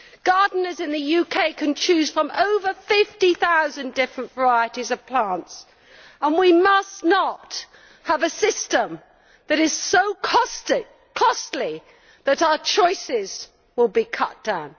Gardeners in the UK can choose from over 50000 different varieties of plants, and we must not have a system that is so costly that our choices will be cut down.